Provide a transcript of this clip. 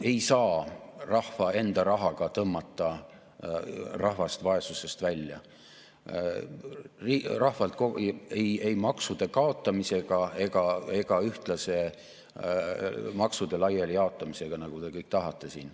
Ei saa rahva enda rahaga tõmmata rahvast vaesusest välja, ei maksude kaotamisega ega ühtlase maksude laiali jaotamisega, nagu te kõik tahate.